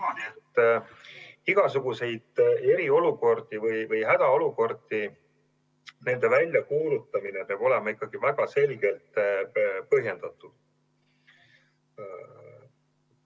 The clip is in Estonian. Ma arvan, et igasuguste eriolukordade ja hädaolukordade väljakuulutamine peab olema väga selgelt põhjendatud.